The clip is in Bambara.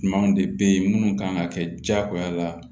Ɲumanw de bɛ ye minnu kan ka kɛ jagoya la